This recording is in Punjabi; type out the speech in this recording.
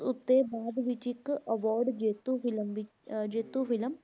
ਉੱਤੇ ਬਾਅਦ ਵਿੱਚ ਇੱਕ award ਜੇਤੂ film ਵੀ ਅਹ ਜੇਤੂ film